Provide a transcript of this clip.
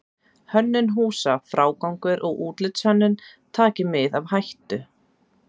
Hönnun húsa, frágangur og útlitshönnun taki mið af hættu.